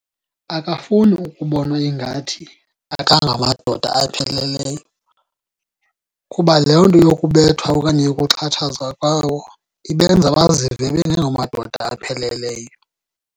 Akafuni ukubonwa ingathi akangamadoda apheleleyo. Kuba loo nto yokubethwa okanye yokuxhatshazwa kwawo ibenza bazive bengengomadoda apheleleyo.